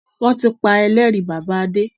Wọn tí pa Ẹlẹ́rìí bàbá Adé